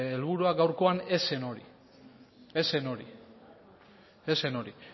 helburua gaurkoa ez zen hori ez zen hori ez zen hori